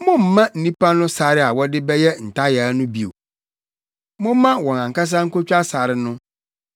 “Mommma nnipa no sare a wɔde bɛyɛ ntayaa no bio! Momma wɔn ankasa nkotwa sare no.